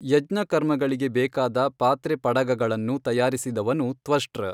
ಯಜ್ಞಕರ್ಮಗಳಿಗೆ ಬೇಕಾದ ಪಾತ್ರೆ ಪಡಗಗಳನ್ನು ತಯಾರಿಸಿದವನು ತ್ವಷ್ಟೃ.